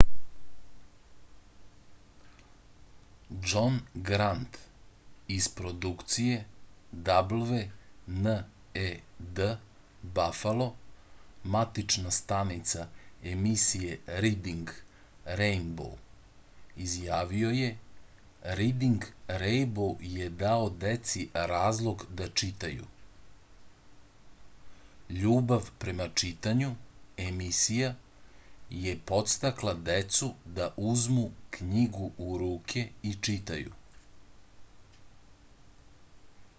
џон грант из продукције wned бафало матична станица емисије ридинг рејнбоу изјавио је: ридинг рејнбоу је дао деци разлог да читају ... љубав према читању - [емисија] је подстакла децу да узму књигу у руке и читају.